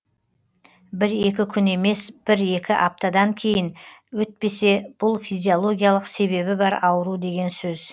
бір екі күн емес бір екі аптадан кейін өтпесе бұл физилогиялық себебі бар ауру деген сөз